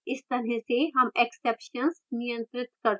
इस तरह से हम exceptions नियंत्रित कर सकते हैं